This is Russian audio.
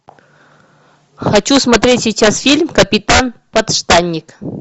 хочу смотреть сейчас фильм капитан подштанник